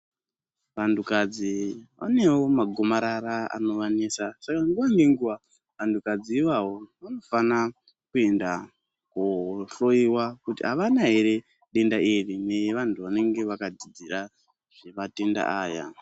Vantukadzi vanewo magomarara anovanetsa saka nguva nenguva vantukadzi ivavo vanofana kuenda kohloyiwa kuti avana yere denda iri ngevantu vanenge vakadzira zvematenda aya .